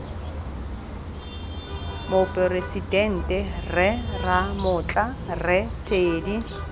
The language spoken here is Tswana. moporesidente rre ramotla rre teddy